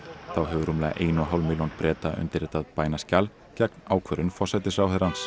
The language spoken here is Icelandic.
þá hefur rúmlega ein og hálf milljón Breta undirritað bænaskjal gegn ákvörðun forsætisráðherrans